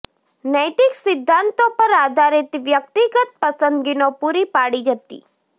નૈતિક સિદ્ધાંતો પર આધારિત વ્યક્તિગત પસંદગીનો પૂરી પાડી હતી